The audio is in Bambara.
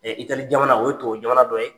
Italy jamana o ye tuwawujamana dɔ ye.